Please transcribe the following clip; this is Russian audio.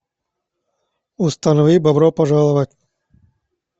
установи бобро пожаловать